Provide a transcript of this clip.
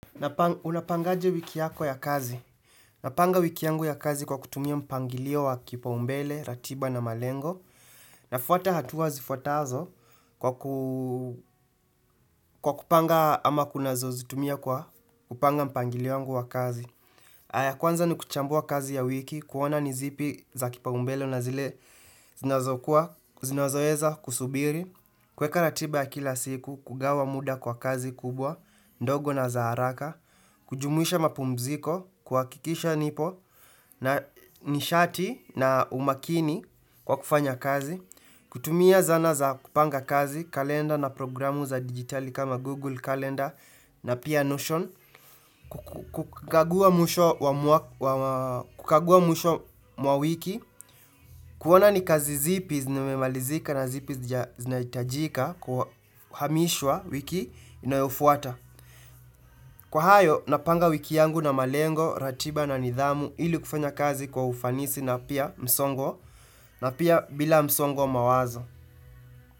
Unapangaje wiki yako ya kazi. Napanga wiki yangu ya kazi kwa kutumia mpangilio wa kipaoumbele, ratiba na malengo. Nafuata hatua zifwatazo kwa kupanga ama kunazo zitumia kwa kupanga mpangilio wangu wa kazi. Ya kwanza ni kuchambua kazi ya wiki, kuona ni zipi za kipaombele na zile zinazokua, zinazoweza kusubiri. Kuweka ratiba ya kila siku, kugawa muda kwa kazi kubwa, ndogo na za haraka. Kujumuisha mapumziko, kuhakikisha nipo na nishati na umakini kwa kufanya kazi kutumia zana za kupanga kazi, kalenda na programu za digitali kama Google kalenda na pia notion kukagua mwisho mwa wiki kuona ni kazi zipi zimemalizika na zipi zinahitajika kwa kuhamishwa wiki inayofuata Kwa hayo, napanga wiki yangu na malengo, ratiba na nidhamu ili kufanya kazi kwa ufanisi na pia msongo na pia bila msongo wa mawazo.